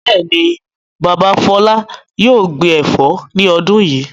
Bẹ́ẹ̀ ni, bàbá Fọlá yóò gbin ẹ̀fọ́ ní ọdún yìí.